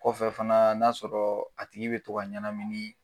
Kɔfɛ fana n'a'a sɔrɔ a tigi bɛ to ka ɲɛnaminin.